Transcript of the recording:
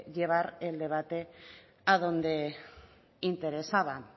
llevar el debate adonde interesaba